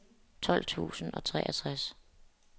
tolv tusind og treogtres